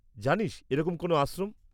-জানিস এরকম কোনও আশ্রম?